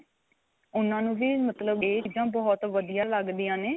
ਉਨ੍ਹਾਂ ਨੂੰ ਵੀ ਮਤਲਬ ਇਹ ਚੀਜ਼ਾ ਬਹੁਤ ਵਧੀਆ ਲੱਗਦੀਆਂ ਨੇ